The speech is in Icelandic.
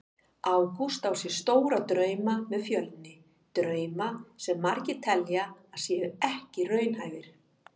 Ágúst á sér stóra drauma með Fjölni, drauma sem margir telja að séu ekki raunhæfir.